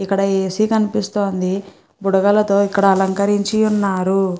ఇక్కడ ఏసీ కనిపిస్తుంది బుడగాల్లతో ఇక్కడ అలంకరించి ఉన్నారు.